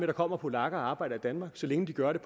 der kommer polakker og arbejder i danmark så længe de gør det